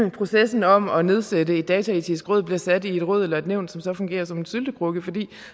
at processen om at nedsætte et dataetisk råd bliver sat i et råd eller et nævn som så fungerer som en syltekrukke for